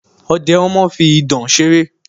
Ọ̀dẹ̀ ọmọ fi ìdọ̀ ṣeré